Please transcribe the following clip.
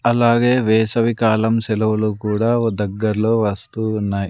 అలాగే వేసవి కాలం సెలవులు కూడా దగ్గర్లో వస్తూ ఉన్నాయ్.